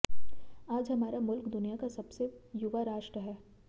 आज हमारा मुल्क दुनिया का सबसे युवा राष्ट्र है